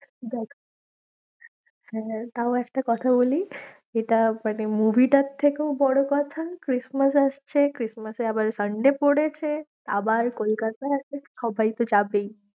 দেখ তাও একটা কথা বলি, এটা মানে movie টার থেকেও বড়ো কথা Christmas আসছে, Christmas এ আবার Sunday পড়েছে, আবার কলকাতা আছে সবাই তো যাবেই।